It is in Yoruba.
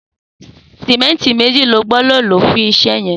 Sìmẹntí méji ló gbọdọ ló fún iṣẹ yẹn